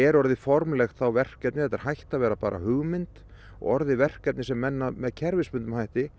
orðið formlegt verkefni þetta er hætt að vera hugmynd og orðið verkefnið sem menn með kerfisbundnum hætti